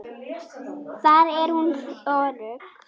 Þar er hún örugg.